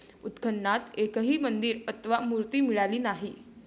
उत्खननात एकही मंदिर अथवा मूर्ती मिळाली नाही.